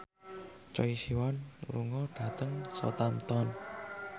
Choi Siwon lunga dhateng Southampton